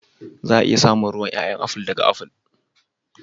Za a iya samun ruwan ƴaƴa aful ɗaga aful.